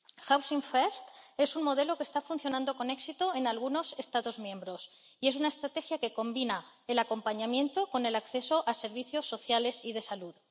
Housing First es un modelo que está funcionando con éxito en algunos Estados miembros, y es una estrategia que combina el acompañamiento con el acceso a servicios sociales y de salud.